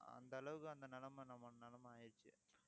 அந்த அளவுக்கு அந்த நிலைமை நம்ம நிலைமை ஆயிடுச்சு